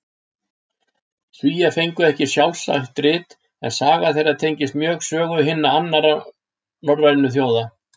Svíar fengu ekki sjálfstætt rit, en saga þeirra tengist mjög sögu hinna annarra norrænu þjóða.